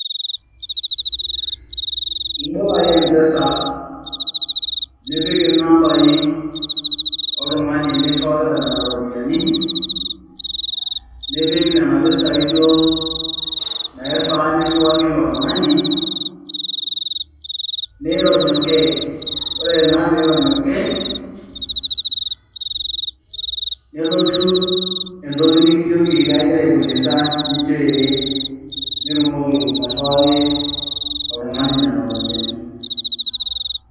ibol ake empesa nipik inambai oltung'ani liriwakita nena iropiyiani, nipik nena pisai duoo naifaa niriwaki ilo tung'ani, nirony' okey, ore naa pee irony' okey nelotu entoki nikijoki igira ai fuliza nijo ee nitumoki airiwaki oltung'ani nena ropiyiani.